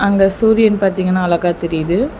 அங்க சூரியன் பாத்தீங்கனா அழகா தெரியிது.